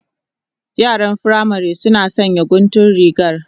Yaran firamari suna sanya guntun rigar